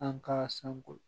An ka sanko